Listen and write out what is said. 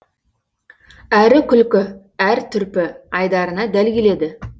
әрі күлкі әр түрпі айдарына дәл келеді